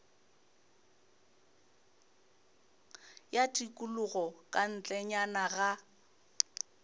ya tikologo ka ntlenyana ga